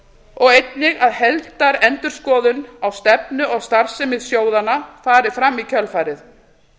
og einnig að heildarendurskoðun á stefnu og starfsemi sjóðanna fari fram í kjölfarið